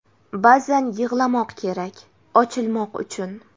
Ba’zan yig‘lamoq kerak, ochilmoq uchun.